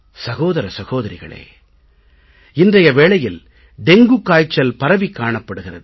சகோதர சகோதரிகளே இன்றைய வேளையில் டெங்குகாய்ச்சல் பரவிக் காணப்படுகிறது